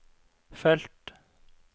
felt